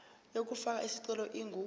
yokufaka isicelo ingu